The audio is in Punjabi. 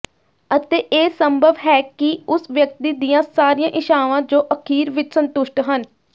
ਅਤੇ ਇਹ ਸੰਭਵ ਹੈ ਕਿ ਉਸ ਵਿਅਕਤੀ ਦੀਆਂ ਸਾਰੀਆਂ ਇੱਛਾਵਾਂ ਜੋ ਅਖੀਰ ਵਿੱਚ ਸੰਤੁਸ਼ਟ ਹਨ